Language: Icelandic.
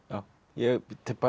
ég